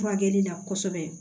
Furakɛli la kosɛbɛ